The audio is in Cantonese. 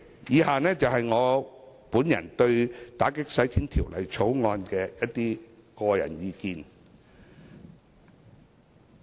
以下是我對《條例草案》的一些個人意見。